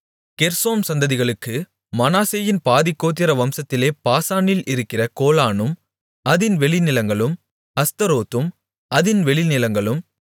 கெர்சோம் சந்ததிகளுக்கு மனாசேயின் பாதிக்கோத்திர வம்சத்திலே பாசானில் இருக்கிற கோலானும் அதின் வெளிநிலங்களும் அஸ்தரோத்தும் அதின் வெளிநிலங்களும்